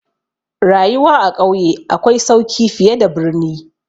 Rayuwa a ƙauye akwai sauki fiye da birni.